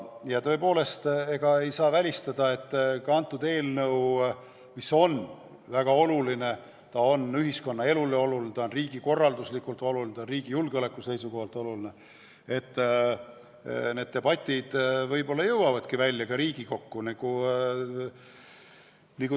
Ja tõepoolest ei saa välistada, et kuna see eelnõu on ühiskonnaelu seisukohast väga oluline, riigikorralduslikult oluline, riigi julgeoleku seisukohalt oluline, siis need debatid jõuavadki välja Riigikokku.